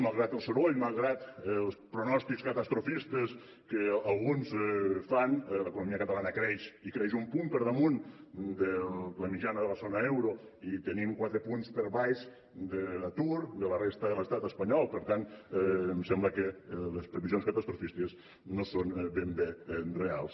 malgrat el soroll malgrat els pronòstics catastrofistes que alguns fan l’economia catalana creix i creix un punt per damunt de la mitjana de la zona euro i tenim quatre punts per baix de l’atur de la resta de l’estat espanyol per tant em sembla que les previsions catastrofistes no són ben bé reals